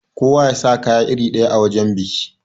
Kowa yasa kaya iri ɗaya a wajan biki.